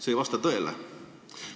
See ei vasta tõele.